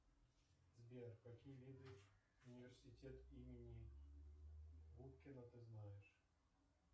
сбер какие виды университет имени губкина ты знаешь